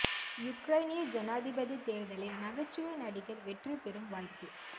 யுக்ரைனிய ஜனாதிபதித் தேர்தலில் நகைச்சுவை நடிகர் வெற்றி பெறும் வாய்ப்பு